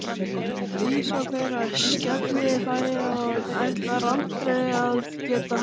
Dísa fer að skellihlæja og ætlar aldrei að geta hætt.